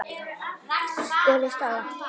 spurði Stella.